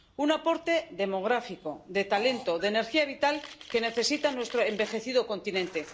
Un aporte demográfico, de talento y de energía vital que necesita nuestro envejecido continente.